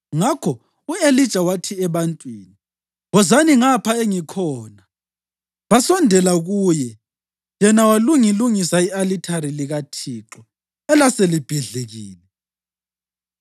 Ngakho u-Elija wathi ebantwini, “Wozani ngapha engikhona.” Basondela kuye, yena walungilungisa i-alithari likaThixo elaselibhidlikile.